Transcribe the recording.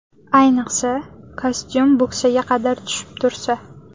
Ayniqsa, kostyum bo‘ksaga qadar tushib tursa.